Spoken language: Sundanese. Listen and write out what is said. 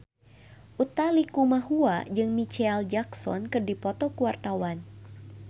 Utha Likumahua jeung Micheal Jackson keur dipoto ku wartawan